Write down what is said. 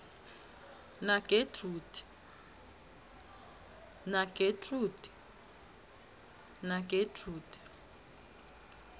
nagetrude